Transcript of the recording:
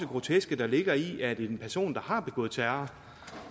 groteske der ligger i at en person der har begået terror